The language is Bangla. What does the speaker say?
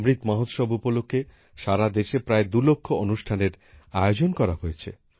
অমৃত মহোৎসব উপলক্ষে সারাদেশে প্রায় দুই লক্ষ অনুষ্ঠানের আয়োজন করা হয়েছে